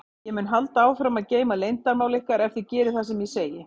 Ég mun halda áfram að geyma leyndarmál ykkar ef þið gerið það sem ég segi.